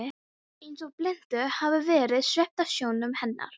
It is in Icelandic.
Hvað ef hún léti sem hún þekkti hann ekki?